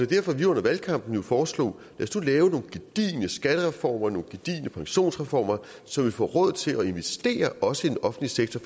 derfor vi under valgkampen foreslog at lave nogle gedigne skattereformer nogle gedigne pensionsreformer så man får råd til at investere også i den offentlige sektor